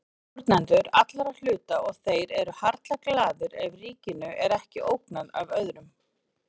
Stjórnendur allra hluta og þeir eru harla glaðir ef ríkinu er ekki ógnað af öðrum.